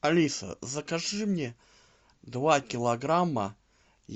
алиса закажи мне два килограмма